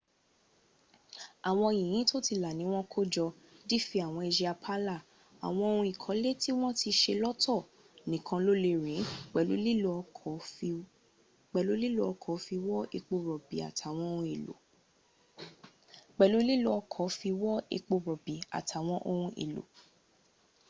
àwọn yìnyín tó ti là níwọn kó jọ dí fi àwọn àsìá pààlà àwọn ohun ìkọlẹ̀ tí wọ́n ti se lọ́tọ̀ nìkan ló lè rìn ín pẹ̀lú lílo ọkọ̀ fi wọ́ epo rọ̀bì àtàwọn ohun èlò